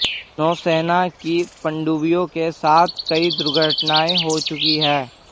नौसेना की पनडुब्बियों के साथ कई दुर्घटनाएं हो चुकी हैं